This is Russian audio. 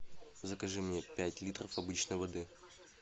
закажи мне пять литров обычной воды